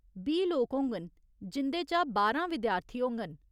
बीह् लोक होङन, जिं'दे चा बारां विद्यार्थी होङन।